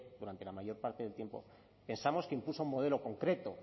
durante la mayor parte del tiempo pensamos que impuso un modelo concreto